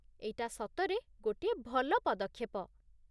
ଏଇଟା ସତରେ ଗୋଟିଏ ଭଲ ପଦକ୍ଷେପ!